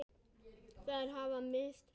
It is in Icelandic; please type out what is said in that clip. Þær hafa misst mikið.